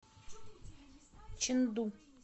чэнду